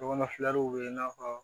Ɲɔgɔnfilɛriw bɛ yen i n'a fɔ